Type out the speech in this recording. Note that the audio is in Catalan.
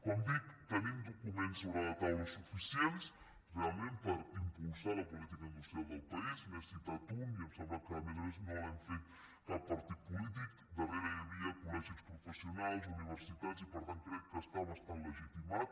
com dic tenim documents sobre la taula suficients realment per impulsar la política industrial del país n’he citat un i em sembla que a més a més no l’hem fet cap partit polític darrere hi havia col·sionals universitats i per tant crec que està bastant legitimat